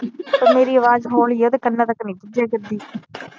ਤੇ ਮੇਰੀ ਅਵਾਜ਼ ਹੋਲੀ ਆ ਓਦੇ ਕੰਨਾ ਤਕ ਨਹੀਂ ਪੋਚਿਆ ਕਰਦੀ